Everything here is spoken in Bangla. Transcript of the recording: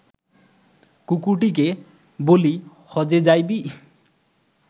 কুকরটিকে বলি–হজ্বে যাইবি